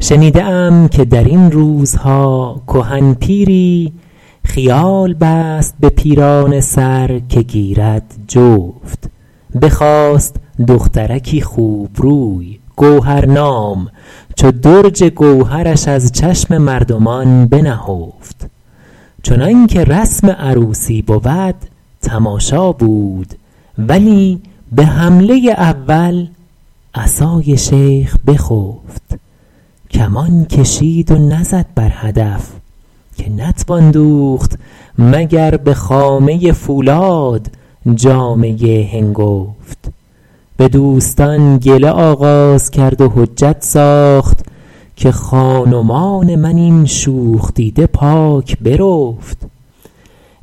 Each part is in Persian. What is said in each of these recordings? شنیده ام که در این روزها کهن پیری خیال بست به پیرانه سر که گیرد جفت بخواست دخترکی خوبروی گوهرنام چو درج گوهرش از چشم مردمان بنهفت چنان که رسم عروسی بود تماشا بود ولی به حمله اول عصای شیخ بخفت کمان کشید و نزد بر هدف که نتوان دوخت مگر به خامه فولاد جامه هنگفت به دوستان گله آغاز کرد و حجت ساخت که خان ومان من این شوخ دیده پاک برفت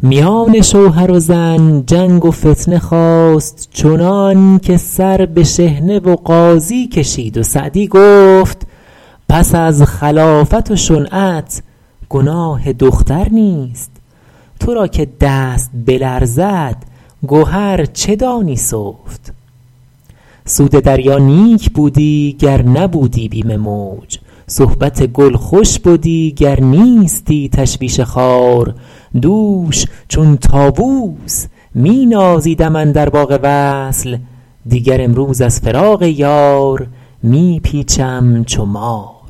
میان شوهر و زن جنگ و فتنه خاست چنان که سر به شحنه و قاضی کشید و سعدی گفت پس از خلافت و شنعت گناه دختر نیست تو را که دست بلرزد گهر چه دانی سفت سود دریا نیک بودی گر نبودی بیم موج صحبت گل خوش بدی گر نیستی تشویش خار دوش چون طاووس می نازیدم اندر باغ وصل دیگر امروز از فراق یار می پیچم چو مار